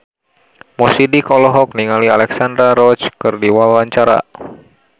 Mo Sidik olohok ningali Alexandra Roach keur diwawancara